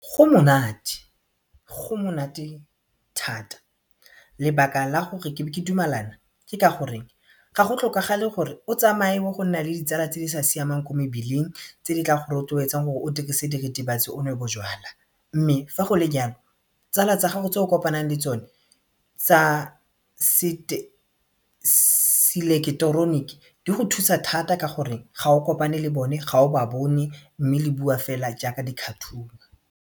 Go monate go monate thata lebaka la gore ke be ke dumalana ke ka gore ga go tlhokagale gore o tsamaye o go nna le ditsala tse di sa siamang ko mebileng tse di tla go rotloetsang gore o dirise diritibatsi o nwe bojalwa mme fa go le jalo tsala tsa gago tse o kopanang le tsone tsa seleketeroniki di go thusa thata ka gore ga o kopane le bone ga o ba bone mme le bua fela jaaka di-cartoon-u.